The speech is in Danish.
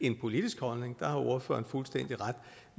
en politisk holdning og der har ordføreren fuldstændig ret